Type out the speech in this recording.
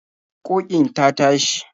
Ƙoƙin ta tashi.